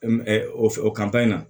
o in na